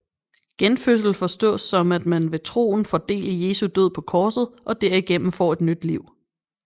Genfødsel forstås som at man ved troen får del i Jesu død på korset og derigennem får et nyt liv